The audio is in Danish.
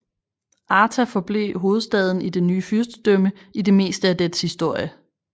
Arta forblev hovedstaden i det nye fyrstedømme i det meste af dets historie